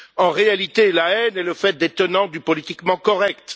En réalité, la haine est le fait des tenants du politiquement correct.